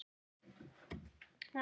Jói leit upp.